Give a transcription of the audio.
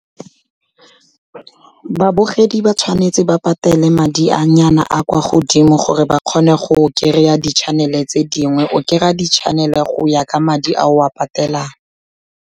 Babogedi ba tshwanetse ba patele madi a nyana a kwa godimo gore ba kgone go kry-a di-channel-e tse dingwe, o kry-a di-channel-e go ya ka madi a o a patelang.